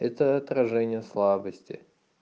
это отражение слабости